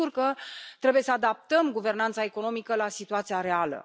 Sigur că trebuie să adaptăm guvernanța economică la situația reală.